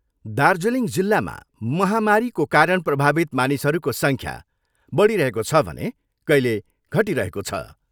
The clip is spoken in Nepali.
दार्जीलिङ जिल्लामा महामरीको कारण प्रभावित मानिसहरूको सङ्ख्या बढिरहेको छ भने कहिले घटिरहको छ।